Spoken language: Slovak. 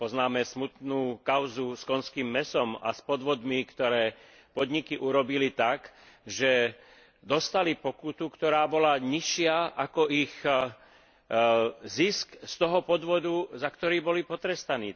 Poznáme smutnú kauzu s konským mäsom a s podvodmi, ktoré podniky urobili tak, že dostali pokutu, ktorá bola nižšia ako ich zisk z toho podvodu, za ktorý boli potrestaní.